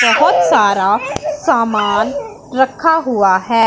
बहुत सारा सामान रखा हुआ है।